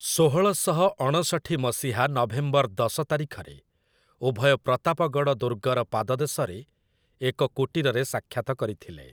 ଷୋହଳ ଶହ ଅଣଷଠି ମସିହା ନଭେମ୍ବର ଦଶ ତାରିଖରେ, ଉଭୟ ପ୍ରତାପଗଡ଼ ଦୁର୍ଗର ପାଦଦେଶରେ ଏକ କୁଟୀରରେ ସାକ୍ଷାତ କରିଥିଲେ ।